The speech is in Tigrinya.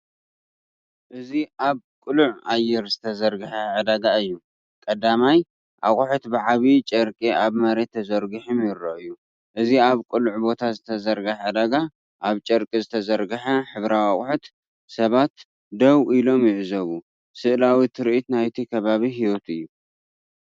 እዚ ኣብ ቅሉዕ ኣየር ዝተዘርግሐ ዕዳጋ እዩ። ቀዳማይ፡ ኣቑሑት ብዓቢ ጨርቂ ኣብ መሬት ተዘርጊሖም ይረኣዩ። እዚ ኣብ ቅሉዕ ቦታ ዝተዘርግሐ ዕዳጋ፣ ኣብ ጨርቂ ዝተዘርግሐ ሕብራዊ ኣቑሑት፤ ሰባት ደው ኢሎም ይዕዘቡ። ስእላዊ ትርኢት ናይቲ ከባቢ ህይወት እዩ።